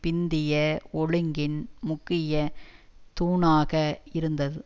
பிந்திய ஒழுங்கின் முக்கிய தூணாக இருந்தது